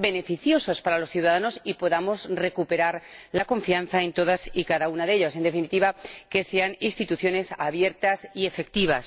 beneficiosas para los ciudadanos y podamos recuperar la confianza en todas y cada una de ellas en definitiva, que sean instituciones abiertas y efectivas.